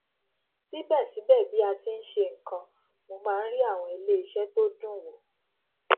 síbẹsíbẹ bí a ti n ṣe nkan mo máa n rí àwọn iléiṣẹ tó dùn wò